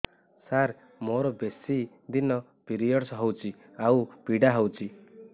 ସାର ମୋର ବେଶୀ ଦିନ ପିରୀଅଡ଼ସ ହଉଚି ଆଉ ପୀଡା ହଉଚି